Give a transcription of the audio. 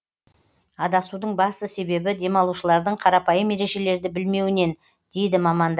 адасудың басты себебі демалушылардың қарапайым ережелерді білмеуінен дейді мамандар